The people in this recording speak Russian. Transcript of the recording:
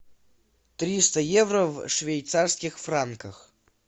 триста евро в швейцарских франках